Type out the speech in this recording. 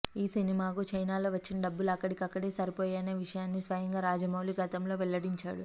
ఈ సినిమాకు చైనాలో వచ్చిన డబ్బులు అక్కడికక్కడే సరిపోయాయనే విషయాన్ని స్వయంగా రాజమౌళి గతంలో వెల్లడించాడు